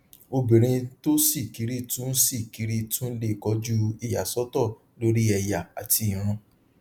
obìnrin tó ṣí kiri tún ṣí kiri tún le kojú ìyàsọtọ lórí ẹyà àti ìran